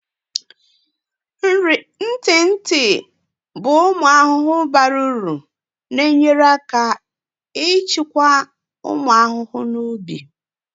Ntị ntị bụ ụmụ ahụhụ bara uru na-enyere aka ịchịkwa ụmụ ahụhụ na ubi.